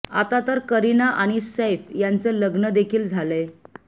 आता तर करीना आणि सैफ यांच लग्न देखील झालंय